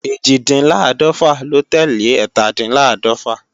Ẹ́jìndínláàdọ́fà ló tẹ́lẹ̀ ẹ́tàdínláàdọ̀fà